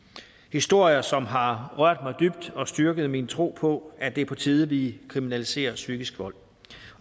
historier som har rørt mig dybt og styrket min tro på at det er på tide at vi kriminaliserer psykisk vold